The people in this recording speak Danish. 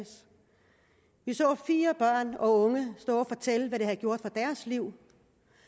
vi så fire børn og unge stå og fortælle hvad det havde gjort for deres liv